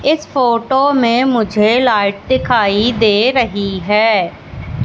इस फोटो में मुझे लाइट दिखाई दे रही है।